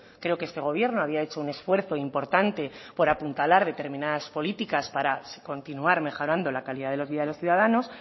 creo que este gobierno había hecho un esfuerzo importante por apuntalar determinadas políticas para continuar mejorando la calidad de vida de los ciudadanos